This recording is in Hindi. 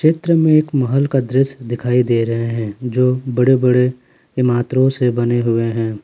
चित्र में एक महल का दृश्य दिखाई दे रहे हैं जो बड़े बड़े इमात्रो से बने हुए हैं।